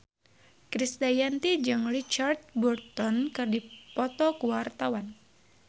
Krisdayanti jeung Richard Burton keur dipoto ku wartawan